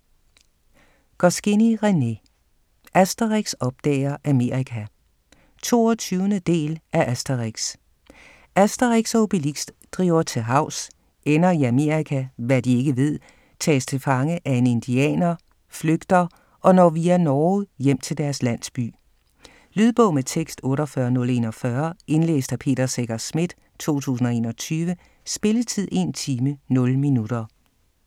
Goscinny, René: Asterix opdager Amerika 22. del af Asterix. Asterix og Obelix driver til havs, ender i Amerika (hvad de ikke ved), tages til fange af en indianer, flygter og når via Norge hjem til deres landsby. Lydbog med tekst 48041 Indlæst af Peter Secher Schmidt, 2021. Spilletid: 1 time, 0 minutter.